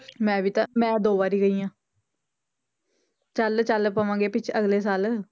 ਮੈਂ ਵੀ ਤਾਂਂ ਮੈਂ ਦੋ ਵਾਰ ਗਈ ਹਾਂ ਚੱਲ ਚੱਲ ਪਵਾਂਗੇ ਪਿੱਛ~ ਅਗਲੇ ਸਾਲ।